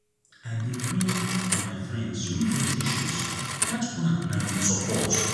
i dey pray for my friends wey get issues dat one na good support.